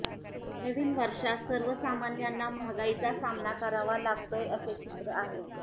नवीन वर्षात सर्वसामान्यांना महागाईचा सामना करावा लागतोय असे चित्र आहे